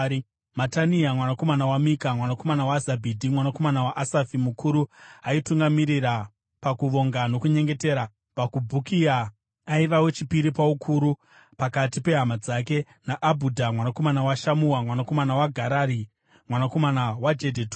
Matania mwanakomana waMika, mwanakomana waZabhidhi, mwanakomana waAsafi, mukuru aitungamirira pakuvonga nokunyengetera; Bhakubhukia, aiva wechipiri paukuru pakati pehama dzake; naAbhudha mwanakomana waShamua, mwanakomana waGarari, mwanakomana waJedhutuni.